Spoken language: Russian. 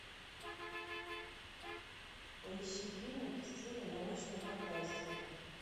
поищи фильмик в стиле научной фантастики